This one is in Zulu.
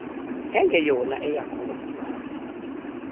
engeyona eyakho ngokuzalwa